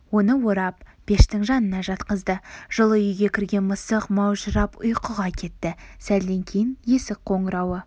оны орап пештің жанына жатқызды жылы үйге кірген мысық маужырап ұйқыға кетті сәлден кейін есік қоңырауы